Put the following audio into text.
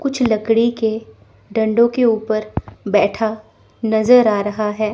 कुछ लकड़ी के डंडों के ऊपर बैठा नजर आ रहा है।